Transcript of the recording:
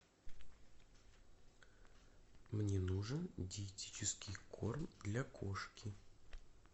мне нужен диетический корм для кошки